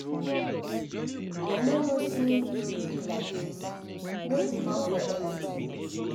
I no no say you weak like dis. No give up for anything.